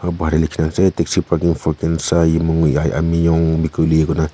Bahar te likhe ase taxi parking khensa yimyu amenyong mekuli koina--